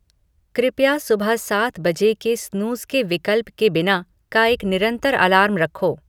कृपया सुबह सात बजे के स्नूज़ के विकल्प के बिना का एक निरंतर अलार्म रखो